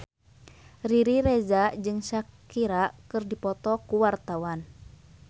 Riri Reza jeung Shakira keur dipoto ku wartawan